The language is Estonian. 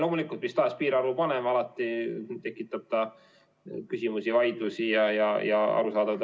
Loomulikult tekitab mistahes piirarvu panemine alati küsimusi, vaidlusi ja debatti.